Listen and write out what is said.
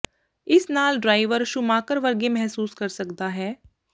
ਇਸ ਨਾਲ driver Schumacher ਵਰਗੇ ਮਹਿਸੂਸ ਕਰ ਸਕਦਾ ਹੈ